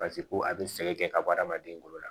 Paseke ko a bɛ sɛgɛn kɛ ka bɔ hadamaden bolo la